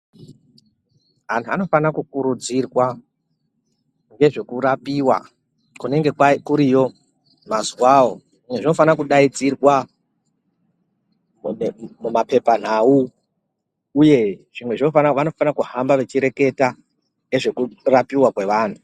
Antu anofana kukurudzirwa ngezvekurapiwa kunenge kuriyo mazuwawo, zvinofane kudaidzirwa mumapepanhau uye zvimwe vanofana kufamba vachireketa ngezvekurapiwa kwevantu.